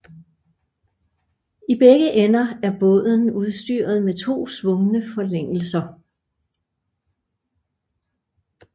I begge ender er båden udstyret med to svungne forlængelser